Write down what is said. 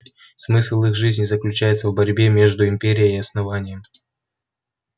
смысл их жизни заключается в борьбе между империей и основанием